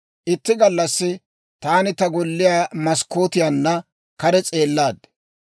Itti gallassi taani ta golliyaa maskkootiyaanna kare s'eellaad;